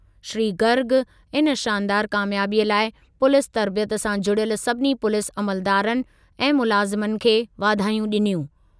श्री गर्ग इन शानदारु क़ामयाबीअ लाइ पुलीस तर्बियत सां जुड़ियल सभिनी पुलीस अमलदारनि ऐं मुलाज़िमनि खे वाधायूं ॾिनियूं।